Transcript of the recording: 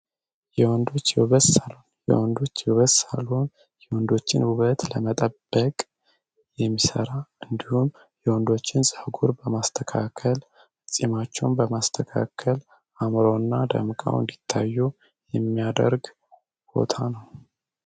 የወንዶች የውበት ሣሎን የወንዶች ህይወት የወንዶችን ውበት ለመጠበቅ የሚሰራ እንዲሁም የወንዶችን በማስተካከል ፂማቸውን በማስተካከል አምረው እና ደም ይታየው የሚያደርግ ነው።